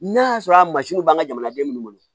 N'a y'a sɔrɔ a mansinw b'an ka jamanaden minnu bolo